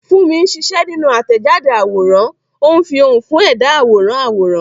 Funmi ń ṣiṣẹ́ nínú àtẹ̀jáde àwòrán, ó ń fi ohùn fún ẹ̀dá àwòrán àwòrán.